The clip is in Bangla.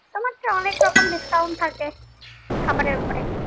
তোমার সেই অনেক রকম discount থাকে খাবারের উপরে।